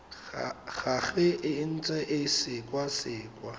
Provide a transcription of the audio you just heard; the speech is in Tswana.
gagwe e ntse e sekwasekwa